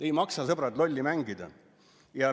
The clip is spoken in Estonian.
Ei maksa, sõbrad, lolli mängida!